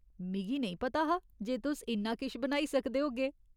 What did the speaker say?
मिगी नेईं पता हा जे तुस इन्ना किश बनाई सकदे होगे।